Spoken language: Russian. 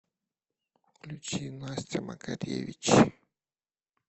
включи настя макаревич